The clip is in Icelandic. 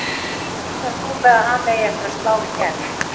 Reiknar þú með að hann eigi eftir að slá í gegn?